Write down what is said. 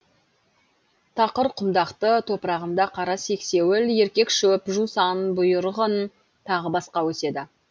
тақыр құмдақты топырағында қара сексеуіл еркек шөп жусан бұйырғын тағы басқа өседі